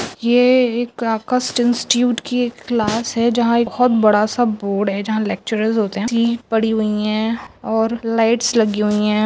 ये एक की एक क्लास है जहां एक बहुत बड़ा सा बोर्ड है जहां लेक्चर होते है पड़ी हुई है और लाईट लगी हुई है।